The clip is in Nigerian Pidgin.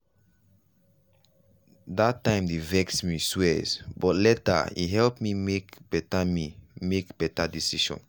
that time dey vex me swrs but later e help me make better me make better decisions.